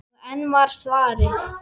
Og enn var svarað: